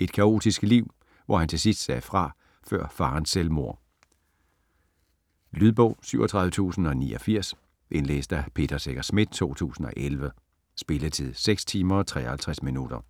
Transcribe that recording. Et kaotisk liv, hvor han til sidst sagde fra før farens selvmord. Lydbog 37089 Indlæst af Peter Secher Schmidt, 2011. Spilletid: 6 timer, 53 minutter.